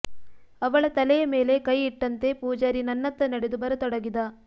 ಅವಳ ತಲೆಯ ಮೇಲೆ ಕೈ ಇಟ್ಟಂತೇ ಪೂಜಾರಿ ನನ್ನತ್ತ ನಡೆದು ಬರತೊಡಗಿದ